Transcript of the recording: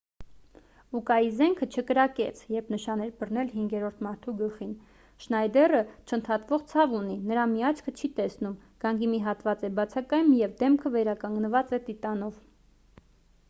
ուկայի զենքը չկրակեց երբ նշան էր բռնել հինգերորդ մարդու գլխին շնայդերը չընդհատվող ցավ ունի նրա մի աչքը չի տեսնում գանգի մի հատված է բացակայում և դեմքը վերականգնված է տիտանով